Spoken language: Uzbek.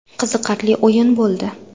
Qiziqarli o‘yin bo‘ldi.